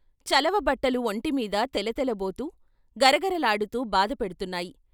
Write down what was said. చలవ బట్టలు ఒంటిమీద తెలతెలబోతూ గరగరలాడుతూ బాధ పెడ్తున్నాయి.